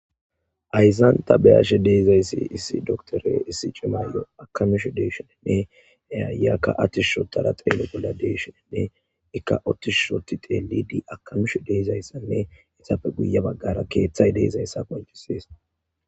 Hayzan tabeyashe deeizayssi issi doktore issi cimaayyo akamishu deeshoninne ayakka attishushotara xeele bolla deeshoninne ikka ottishushoti teeli di akamishu deezayssanne itapfe guye baggara keeththay deezayssa koncisees.